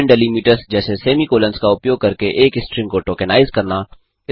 विभिन्न डेलीमिटर्स जैसे semicolons का उपयोग करके एक स्ट्रिंग को टोकेनाइज़ करना